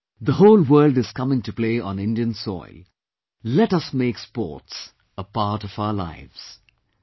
Come on, the whole world is coming to play on Indian soil, let us make sports a part of our lives